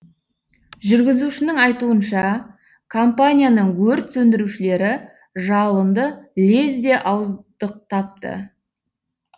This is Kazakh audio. жүргізушінің айтуынша компанияның өрт сөндірушілері жалынды лезде ауыздықтапты